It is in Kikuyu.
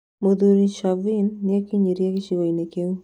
Mũthuri Chauvin nĩekinyirie gĩcigo-inĩ kĩu